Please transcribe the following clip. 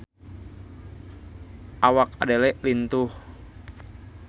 Awak Adele lintuh